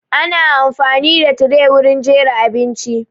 Ana amfani da tire wurin jera abinci